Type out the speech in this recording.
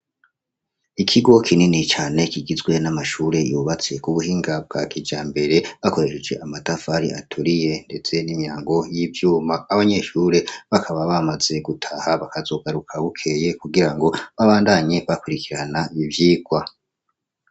Ikigo kinini cane kigizwe n'amashure yubatse kubuhinga bwa kija mbere bakoresheje amadafari aturiye ndese n'imyango y'ivyuma abanyeshure bakaba bamaze gutaha bakazogaruka bukeye kugira ngo babandanye bakurikirana bivyirwa.